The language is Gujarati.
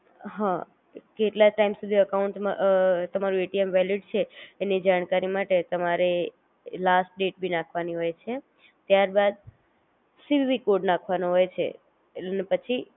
હઅ, કેટલા ટાઇમ સુધી અકાઉંટ માં અ તમારું એટીએમ વેલીડ છે એની જાણકારી માટે તમારે લાસ્ટ ડેટ ભી નાખવાની હોય છે ત્યારબાદ, સીવીવી કોડ નાખવાનો હોય છે એટ ને પછી